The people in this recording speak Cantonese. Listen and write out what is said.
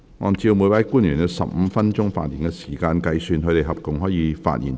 按照每位官員有15分鐘發言時間計算，他們合共可發言最多90分鐘。